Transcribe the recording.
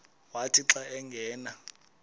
wathi xa angena